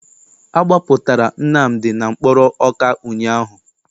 Agbapụtara Nnamdi na mkpọrọ Ọka ụnyaahụ.